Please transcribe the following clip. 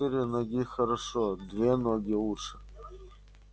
четыре ноги хорошо две ноги лучше